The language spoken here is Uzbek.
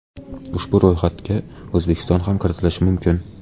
Ushbu ro‘yxatga O‘zbekiston ham kiritilishi mumkin.